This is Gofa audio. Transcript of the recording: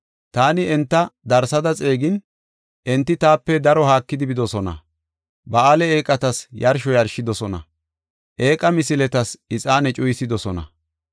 Taani enta darsada xeegin, enti taape daro haakidi bidosona. Ba7aale eeqatas yarsho yarshidosona; eeqa misiletas ixaane cuyisidosona.